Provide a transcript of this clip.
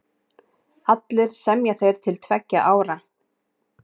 Allir semja þeir til tveggja ára.